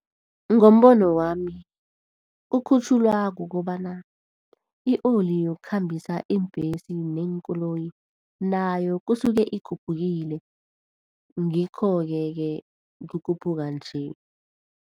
Ngombono wami ukhutjhulwa kukobana i-oli yokukhambisa iimbhesi neenkoloyi, nayo kusuke ikhuphukile. Ngikhoke-ke kukhuphuka nje.